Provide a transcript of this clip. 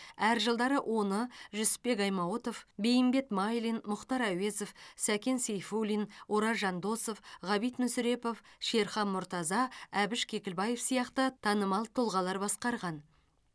әр жылдары оны жүсіпбек аймауытов бейімбет майлин мұхтар әуезов сәкен сейфуллин ораз жандосов ғабит мүсірепов шерхан мұртаза әбіш кекілбаев сияқты танымал тұлғалар басқарған